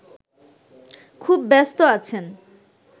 খুব ব্যস্ত আছেন